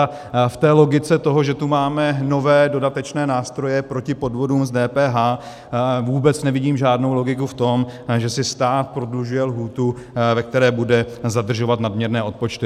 A v logice toho, že tu máme nové dodatečné nástroje proti podvodům s DPH, vůbec nevidím žádnou logiku v tom, že si stát prodlužuje lhůtu, ve které bude zadržovat nadměrné odpočty.